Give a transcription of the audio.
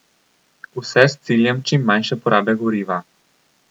Vse s ciljem čim manjše porabe goriva.